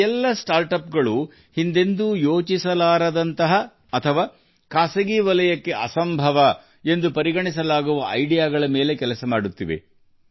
ಈ ಎಲ್ಲಾ ನವೋದ್ಯಮಗಳು ಈ ಹಿಂದೆ ಯೋಚಿಸಿರದ ಅಥವಾ ಖಾಸಗಿ ವಲಯಕ್ಕೆ ಅಸಾಧ್ಯವೆಂದು ಪರಿಗಣಿಸಲಾದ ಆಲೋಚನೆಗಳ ಮೇಲೆ ಕಾರ್ಯನಿರ್ವಹಿಸುತ್ತಿವೆ